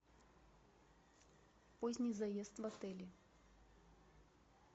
поздний заезд в отеле